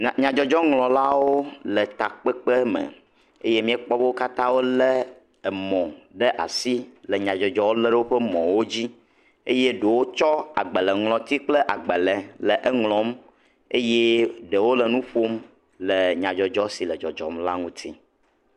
Nya nyadzɔdzɔŋlɔlawo le takpekpe me. Eye miekpɔ be wo katã wo le emɔ ɖe asi le nyadzɔdzɔwo le ɖe woƒe mɔwo dzi eye ɖewo tsɔ agbaleŋlɔti kple agbale le eŋlɔm eye ɖewo le nu ƒom le nyadzɔdzɔ si le dzɔdzɔm la ŋuti.